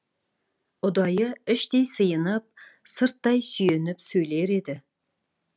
ұдайы іштей сиынып сырттай сүйеніп сөйлер еді